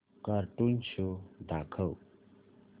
cartoon show दाखव